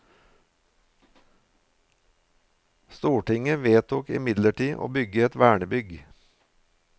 Stortinget vedtok imidlertid å bygge et vernebygg.